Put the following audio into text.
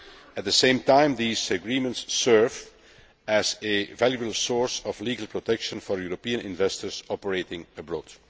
At the same time, these agreements serve as a valuable source of legal protection for European investors operating abroad.